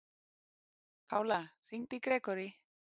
Pála, hringdu í Grégory.